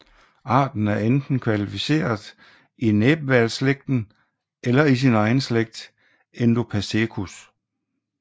Arten er enten klassificeret i næbhvalsslægten eller i sin egen slægt indopacetus